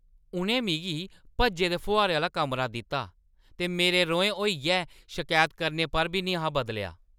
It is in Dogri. उʼनें मिगी भज्जे दे फुहारे आह्‌ला कमरा दित्ता ते मेरे रोहें होइयै शकैत करने पर बी निं हा बदलेआ ।